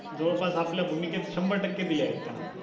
जवळपास आपल्या भूमिकेत शंभर टक्के दिलेत त्यांना